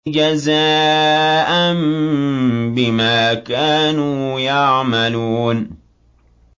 جَزَاءً بِمَا كَانُوا يَعْمَلُونَ